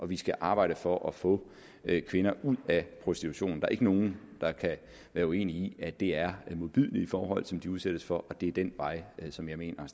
vi skal arbejde for at få kvinder ud af prostitution der er ikke nogen der kan være uenig i at det er modbydelige forhold som de udsættes for og det er den vej som jeg mener